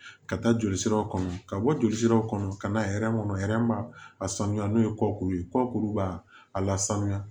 Ka taa jolisiraw kɔnɔ ka bɔ jolisiraw kɔnɔ ka na hɛrɛ kɔnɔ b'a a sanuya n'o ye kɔkuru ye kɔkuruba la sanuya